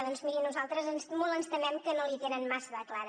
doncs miri nosaltres molt ens temem que no l’hi tenen massa de clara